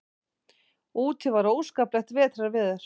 Úti var óskaplegt vetrarveður.